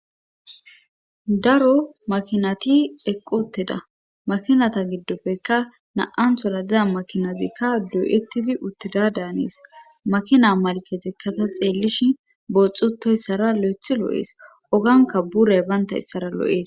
Daro makinati eqqu utteda makinata giddopfekka na7an tola diza makinazikka dooyettidi utteda daanees makina malkezikkata xeellishi booxxutoyssara lo7ethi lo7ees oganka buray baynta issara lo7ees.